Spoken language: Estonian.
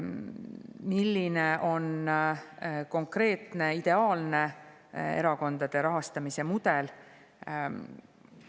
Milline on konkreetne ideaalne erakondade rahastamise mudel?